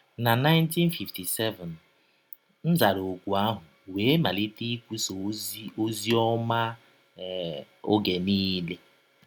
Na 1957, m zara ọ̀kụ ahụ wee malite ikwụsa ọzi ọzi ọma um ọge niile.